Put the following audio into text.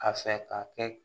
A fɛ ka kɛ